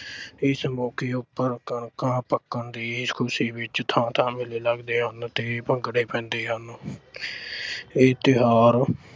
ਇਸ ਮੌਕੇ ਉੱਪਰ ਕਣਕਾਂ ਪੱਕਣ ਦੀ ਖੁਸ਼ੀ ਵਿੱਚ ਥਾਂ ਥਾਂ ਮੇਲੇ ਲੱਗਦੇ ਹਨ ਤੇ ਭੰਗੜੇ ਪੈਂਦੇ ਹਨ। ਇਹ ਤਿਓਹਾਰ।